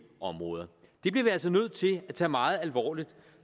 områder det bliver vi altså nødt til at tage meget alvorligt